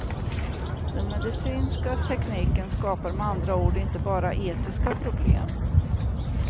Den medicinska tekniken skapar med andra ord inte bara etiska problem.